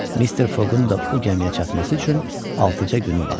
Mister Foqun da bu gəmiyə çatması üçün altıca günü vardı.